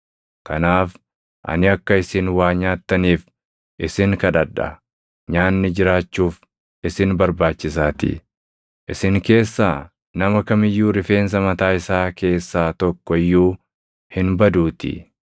Kanaaf ani akka isin waa nyaattaniif isin kadhadha. Nyaanni jiraachuuf isin barbaachisaatii. Isin keessaa nama kam iyyuu rifeensa mataa isaa keessaa tokko iyyuu hin baduutii.”